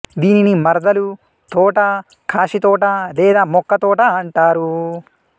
దీనిని మర్దాలు తోట కాశీ తోట లేదా మొక్క తోట అంటారు